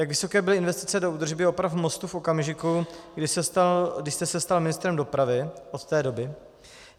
Jak vysoké byly investice do údržby a oprav mostu v okamžiku, kdy jste se stal ministrem dopravy - od té doby?